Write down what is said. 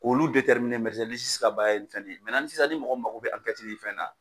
K'olu ka baara ye nin fɛn nin ye ni sisan n'i mɔgɔ min mako bɛ ni fɛn na.